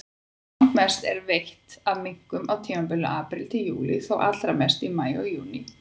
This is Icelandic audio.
Langmest er veitt af minkum á tímabilinu apríl-júlí, þó allra mest í maí og júní.